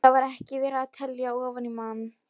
Og þar var ekki verið að telja ofan í mann.